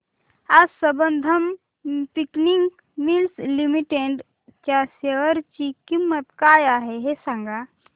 आज Sambandam spinning mills limited च्या share ची किंमत काय आहे हे सांगा